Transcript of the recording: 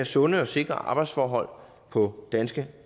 sunde og sikre arbejdsforhold på danske